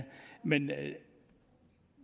men